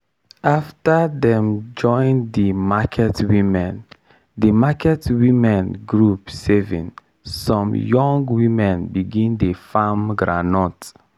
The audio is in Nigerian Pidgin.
after dem join di market women di market women group saving some young women begin dey farm groundnut.